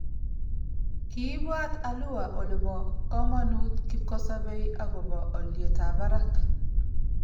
Kiibwat alua Ole bo komonut kipkosobei akobo olyetab barak